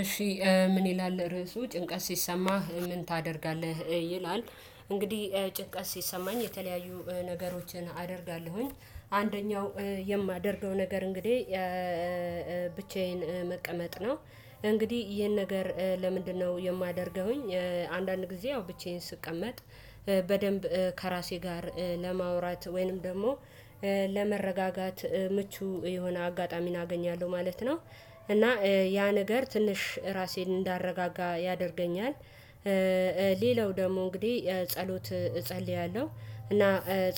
እሺ ምን ይላል ርዕሱ ጭንቀት ሲሰማህ ምን ታደርጋለህ ይላል? እንግዲህ ጭንቀት ሲሰማኝ የተለያዩ ነገሮችን አደርጋለሁኝ። አንደኛው የማደርገው ነገር እንግዲህ ብቻዬን መቀመጥ ነው እንግዲህ ይሄን ነገር ለምንድነው የማደርገውኝ? አንዳንድ ጊዜ ያው ብቻዬን ስቀመጥ በደንብ ከራሴ ጋር ለማውራት ወይንም ደግሞ ለመረጋጋት ምቹ የሆነ አጋጣሚን አገኛለሁ ማለት ነው። እና ያ ነገር ትንሽ ራሴን እንዳረጋጋ ያደርገኛል። ሌላው ደግሞ እንግዲህ ጸሎት እጸልያለሁ እና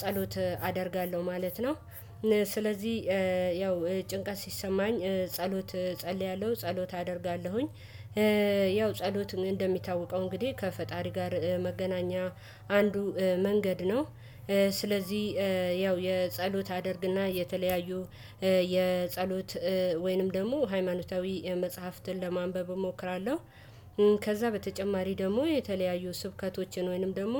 ጸሎት አደርጋለሁ ማለት ነው። ስለዚህ ያው ጭንቀት ሲሰማኝ ጸሎት ጸልያለሁ ጸሎት አደርጋለሁኝ ያው ጸሎት እንደሚታወቀው እንግዲህ ከፈጣሪ ጋር መገናኛ አንዱ መንገድ ነው። ስለዚህ ያው የጸሎት አድርግና የተለያዩ የጸሎት ወይንም ደግሞ ሃይማኖታዊ መጽሐፍትን ለማንበብ እሞክራለሁ። ከዛ በተጨማሪ ደግሞ የተለያዩ ስብከቶችን ወይንም ደግሞ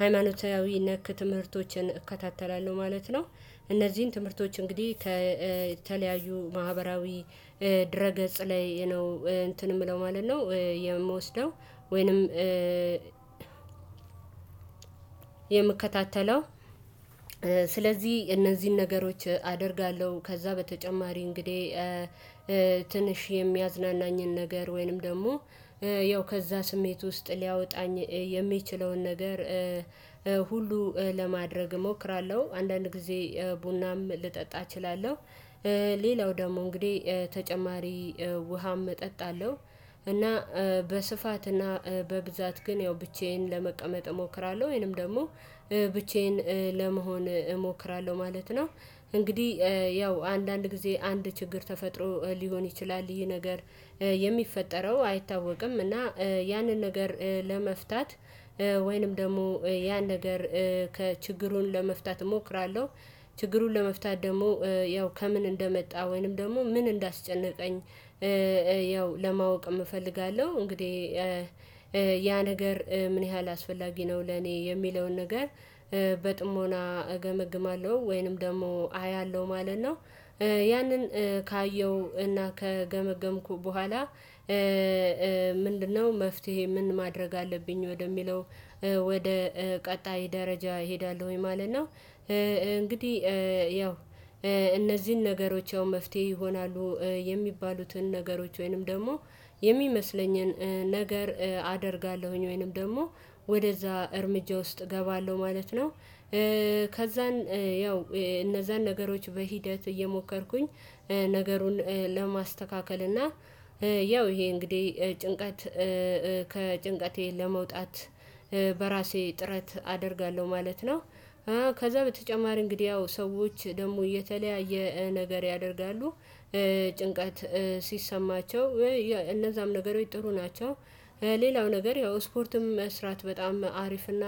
ሃይማኖታዊ ነክ ትምህርቶችን እከታተላለሁ ማለት ነው። እነዚህን ትምህርቶች እንግዲህ ከተለያዩ ማህበራዊ ድረ ገጽ ላይ ነው እንትን የምለው ማለት ነው የምወስደው ወይንም የምከታተለው። ስለዚህ እነዚህን ነገሮች አደርጋለሁ። ከዛ በተጨማሪ እንግዲህ ትንሽ የሚያዝናናኝን ነገር ወይንም ደግሞ ያው ከዛ ስሜት ውስጥ ሊያወጣኝ የሚችለውን ነገር ሁሉ ለማድረግ እሞክራለሁ አንዳንድ ጊዜ ቡናም ልጠጣ እችላለሁ። ሌላው ደግሞ እንግዲህ ተጨማሪ ውሃም እጠጣለሁ እና በስፋት እና በብዛት ግን ያው ብቻዬን ለመቀመጥ እሞክራለሁ ወይንም ደግሞ ብቻዬን ለመሆን እሞክራለሁ ማለት ነው። እንግዲህ ያው አንዳንድ ጊዜ አንድ ችግር ተፈጥሮ ሊሆን ይችላል ይህ ነገር የሚፈጠረው አይታወቅም። እና ያንን ነገር ለመፍታት ወይንም ደግሞ ያን ነገር ከችግሩን ለመፍታት እሞክራለሁ። ችግሩን ለመፍታት ደግሞ ያው ከምን እንደመጣ ወይንም ደግሞ ምን እንዳስጨነቀኝ ያው ለማወቅም እፈልጋለሁ። እንግዲህ ያ ነገር ምን ያህል አስፈላጊ ነው ለኔ የሚለውን ነገር በጥሞና እገመግማለሁ ወይንም ደግሞ አያለሁ ማለት ነው። ያንን ካየው እና ከገመገምኩ በኋላ ምንድነው መፍትሄ ምን ማድረግ አለብኝ ወደሚለው? ወደ ቀጣይ ደረጃ እሄዳለሁ ማለት ነው። እንግዲህ ያው እነዚህን ነገሮች ያው መፍትሄ ይሆናሉ የሚባሉትን ነገሮች ወይንም ደግሞ የሚመስለኝን ነገር አደርጋለሁኝ ወይንም ደግሞ ወደዛ እርምጃ ውስጥ እገባለሁ ማለት ነው። ከዛን ያው እነዛን ነገሮች በሂደት እየሞከርኩኝ ነገሩን ለማስተካከል እና ያው ይሄ እንግዲህ ጭንቀት ከጭንቀቴ ለመውጣት በራሴ ጥረት አደርጋለሁ ማለት ነው። ከዛ በተጨማሪ እንግዲህ ያው ሰዎች ደግሞ እየተለያየ ነገር ያደርጋሉ። ጭንቀት ሲሰማቸው እነዛም ነገሮች ጥሩ ናቸው። ሌላው ነገር ያው ስፖርትም መስራት በጣም አሪፍና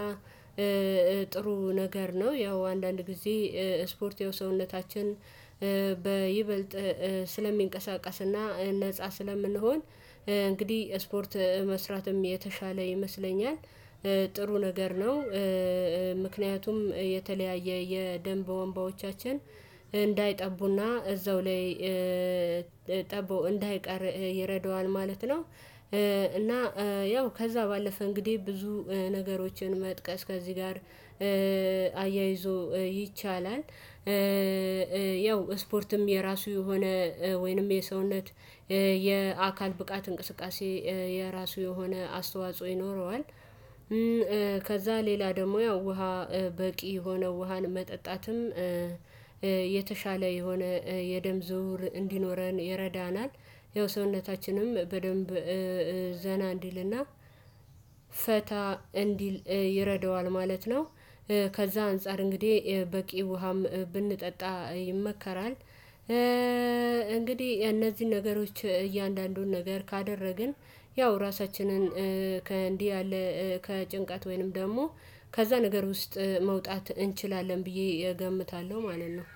ጥሩ ነገር ነው። ያው አንዳንድ ጊዜ ስፖርት የሰውነታችን በይበልጥ ስለሚንቀሳቀስና ነፃ ስለምንሆን እንግዲህ ስፖርት መስራትም የተሻለ ይመስለኛል ጥሩ ነገር ነው። ምክንያቱም የተለያየ የደም ቧንቧዎቻችን እንዳይጠቡና እዛው ላይ ጠቦ እንዳይቀር ይረደዋል ማለት ነው። እና ያው ከዛ ባለፈ እንግዲህ ብዙ ነገሮችን መጥቀስ ከዚህ ጋር አያይዞ ይቻላል። ያው ስፖርትም የራሱ የሆነ ወይንም የሰውነት የአካል ብቃት እንቅስቃሴ የራሱ የሆነ አስተዋጽኦ ይኖረዋል። ከዛ ሌላ ደግሞ ያው ውሃ በቂ የሆነው ውሃን መጠጣትም የተሻለ የሆነ የደም ዝውውር እንዲኖረን ይረዳናል። ያው ሰውነታችንም በደንብ ዘና እንዲልና ፈታ እንዲል ይረደዋል ማለት ነው። ከዛ አንፃር እንግዲህ በቂ ውሃም ብንጠጣ ይመከራል። እንግዲህ እነዚህን ነገሮች እያንዳንዱን ነገር ካደረግን ያው ራሳችንን ከእንዲህ ያለ ከጭንቃት ወይንም ደግሞ ከዛ ነገር ውስጥ መውጣት እንችላለን ብዬ እገምታለሁ ማለት ነው።